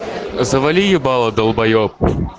завали ебало долбаеб